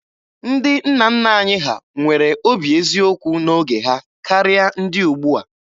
Ndị nna nna anyị ha nwere obi eziokwu n'oge ha karịa ndị ugbua.